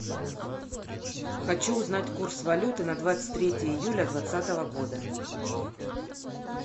хочу узнать курс валюты на двадцать третье июля двадцатого года